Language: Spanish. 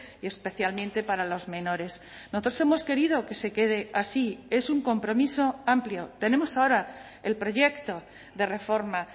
y especialmente para los menores nosotros hemos querido que se quede así es un compromiso amplio tenemos ahora el proyecto de reforma